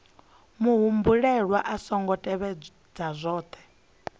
muhumbeli a songo tevhedza zwohe